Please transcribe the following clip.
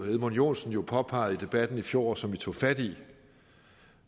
edmund joensen jo påpegede i debatten i fjor og som vi tog fat i